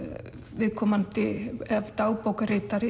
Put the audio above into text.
viðkomandi